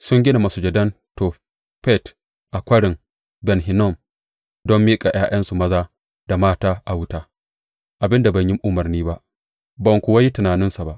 Sun gida masujadan Tofet a Kwarin Ben Hinnom don miƙa ’ya’yansu maza da mata a wuta, abin da ban yi umarni ba, ba kuwa yi tunaninsa ba.